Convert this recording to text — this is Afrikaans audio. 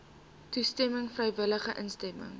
toestemming vrywillige instemming